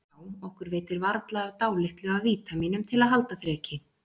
Já, okkur veitir varla af dálitlu af vítamínum til að halda þreki